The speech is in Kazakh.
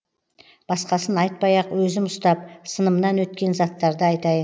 басқасын айтпай ақ өзім ұстап сынымнан өткен заттарды айтайын